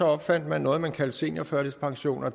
opfandt man noget man kaldte seniorførtidspension og